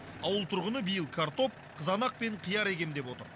ауыл тұрғыны биыл картоп қызанақ пен қияр егемін деп отыр